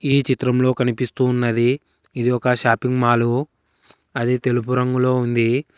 ఈ చిత్రంలో కనిపిస్తూ ఉన్నది ఇది ఒక షాపింగ్ మాల్ అది తెలుపు రంగులో ఉంది.